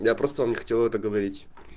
я просто вам не хотел это говорить